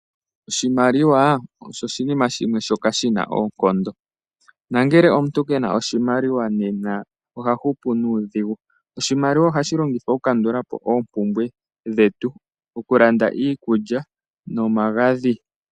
Oshimaliwa osho oshinima shimwe shoka shina oonkondo nangele omuntu kena oshimaliwa nena oha hupu nuudhigu. Oshimaliwa ohashi longithwa oku kandula po oompumbwe dhetu, oku landa iikulya nomagadhi.